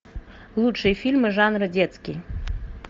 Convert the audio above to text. лучшие фильмы жанра детский